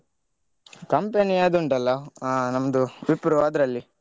Company ಅದು ಉಂಟಲ್ಲಾ ಆ ನಮ್ದು Wipro ಅದ್ರಲ್ಲಿ.